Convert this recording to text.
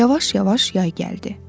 Yavaş-yavaş yay gəldi.